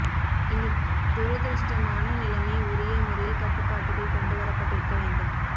இந்த துரதிஷ்டமான நிலைமை உரிய முறையில் கட்டுப்பாட்டுக்குள் கொண்டுவரப்பட்டிருக்க வேண்டும்